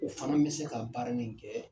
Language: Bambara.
O fana bi se ka baara ni kɛ